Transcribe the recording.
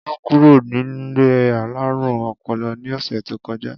Olú kúrò nílé alárùn o̩po̩lo̩ ní ò̩sè̩ tó ko̩já